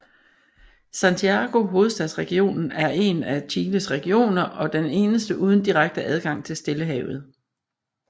Santiago Hovedstadsregionen er en af Chiles regioner og den eneste uden direkte adgang til Stillehavet